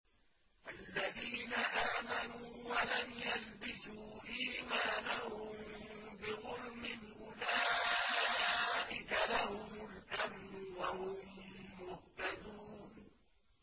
الَّذِينَ آمَنُوا وَلَمْ يَلْبِسُوا إِيمَانَهُم بِظُلْمٍ أُولَٰئِكَ لَهُمُ الْأَمْنُ وَهُم مُّهْتَدُونَ